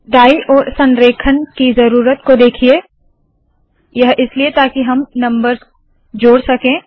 दाईं ओर संरेखण की ज़रूरत को देखिए यह इसलिए ताकि हम नम्बर्स जोड़ सके